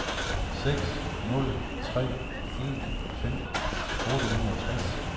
seks nul tre en femten otte hundrede og tres